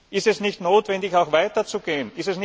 Ist es nicht notwendig, auch weiter zu gehen?